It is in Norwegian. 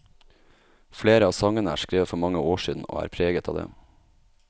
Flere av sangene er skrevet for mange år siden, og er preget av det.